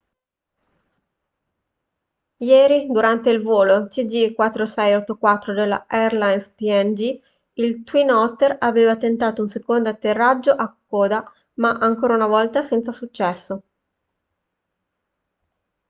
ieri durante il volo cg4684 della airlines png il twin otter aveva tentato un secondo atterraggio a kokoda ma ancora una volta senza successo